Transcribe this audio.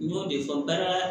N y'o de fɔ baara